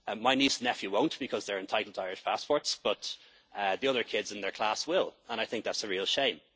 citizens. My niece and nephew won't, because they are entitled to Irish passports, but the other kids in their class will, and I think that's